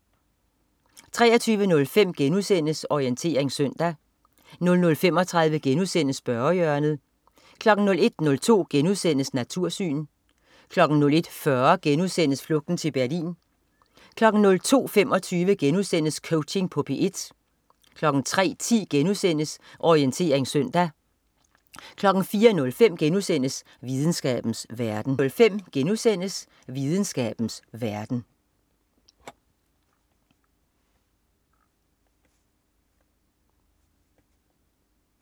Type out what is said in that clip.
23.05 Orientering søndag* 00.35 Spørgehjørnet* 01.02 Natursyn* 01.40 Flugten til Berlin* 02.25 Coaching på P1* 03.10 Orientering søndag* 04.05 Videnskabens verden*